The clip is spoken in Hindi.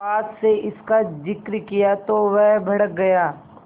सुहास से इसका जिक्र किया तो वह भड़क गया